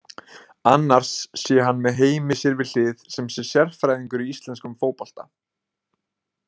Annars sé hann með Heimi sér við hlið sem sé sérfræðingur í íslenskum fótbolta.